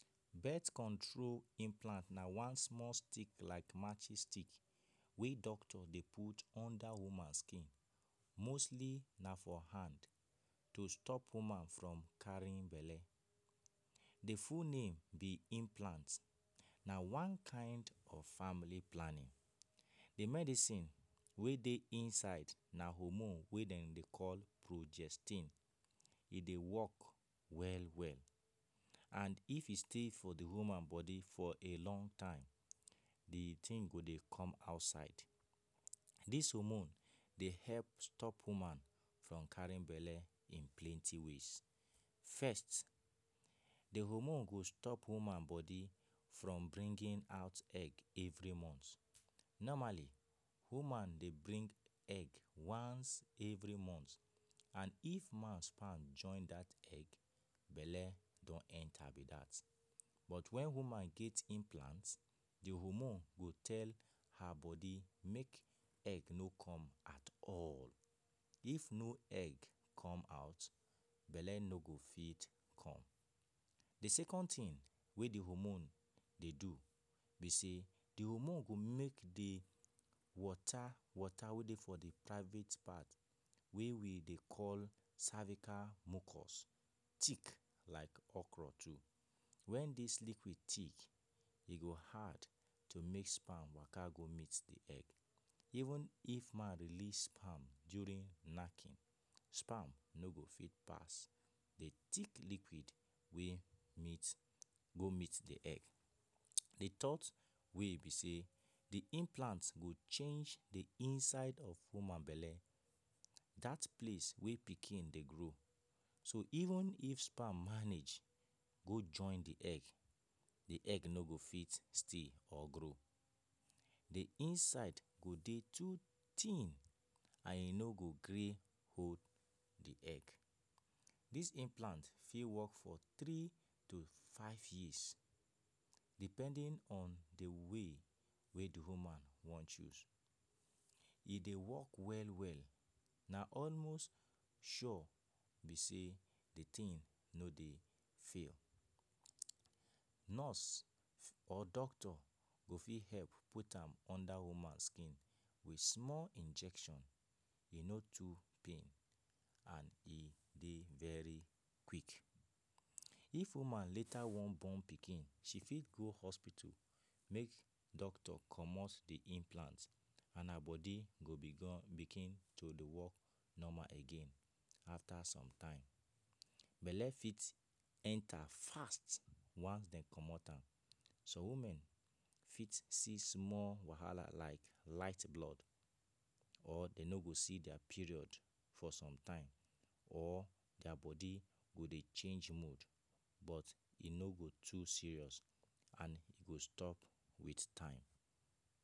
Birth control implant na one small stick like matches stick wey doctor dey put under woman skin mostly na for hand to stop woman from carin belle The full name be implant Na one kind of family planning The medicine wey dey inside na hormone wey dem dey call progestin, e dey work well well And if e stay for woman for a long time the thing go dey come outside Dis hormone dey help woman from carin belle in plenty ways First, the hormone go stop woman body from bringing egg every month Normally, woman dey bring egg once every month And if man sperm join that egg belle don enter don enter be dat But when woman get implant the hormone go tell her bodi make egg no come atall If no egg come out, belle no go fit come The second thing wey the hormone dey do be say, the hormone go make the water, water wey dey for the private part wey we dey cervical mucus thik like okro too When dis liquid thick, e go hard to make sperm waka go meet the egg Even if man release sperm during knacking, sperm no go fit pass the thik liquid wey meet go meet the egg The third way be say, the implant go change the inside of woman belle That place wey pikin dey grow, so even if sperm manage go join the egg, the egg no go fit stay or grow The inside go dey too tin and e no go gree hold the egg Dis implant fit work for three to five years Depending on the way wey the woman wan choose E dey work well-well na almost sure be say the thing no dey fail Nurse or doctor go fit help put am under woman skin with small injection e no too pain and e dey very quick If woman later wan born pikin, she fit go hospito make doctor comot the implant and her body go begun begin to dey work normal again after some time Belle fit enter fast once dem comot am Some woman fit see small wahala like light blood or dem no go see their period for some time or their bodi go dey change mood but e no go too serious and e go stop with time